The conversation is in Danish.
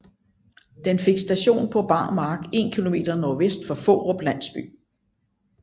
Den fik station på bar mark 1 km nordvest for Fårup landsby